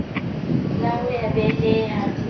la ho ya beleha le